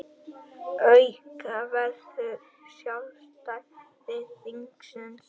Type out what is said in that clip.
Auka verður sjálfstæði þingsins